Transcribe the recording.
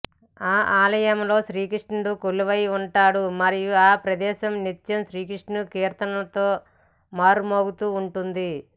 ఆ ఆలయంలో శ్రీకృష్ణుడు కొలువై ఉంటాడు మరియు ఈ ప్రదేశం నిత్యం కృష్ణుని కీర్తనలతో మారుమ్రోగుతూ ఉంటుంది